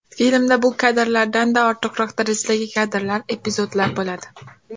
Filmda bu kadrlardanda ortiqroq darajadagi kadrlar, epizodlar bo‘ladi.